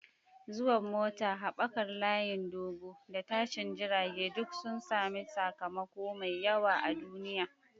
Zuwan mota, haɓakar layin dogo, da tashin jirage duk sun sami sakamako mai yawa a duniya.